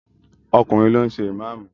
Ọkùnrin ló ń ṣe ìmáàmù!